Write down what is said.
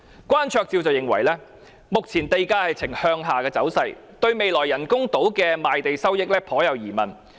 關焯照認為，目前地價呈向下走勢，對未來人工島的賣地收益存疑。